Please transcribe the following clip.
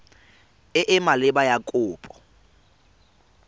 e e maleba ya kopo